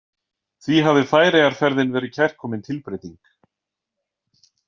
Því hafði Færeyjaferðin verið kærkomin tilbreyting.